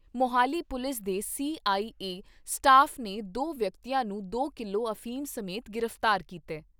Mohali police ਦੇ CIA staff ਨੇ ਦੋ ਵਿਅਕਤੀਆ ਨੂੰ ਦੋ ਕਿਲੋ ਅਫੀਮ ਸਮੇਤ ਗ੍ਰਿਫਤਾਰ ਕੀਤਾ ।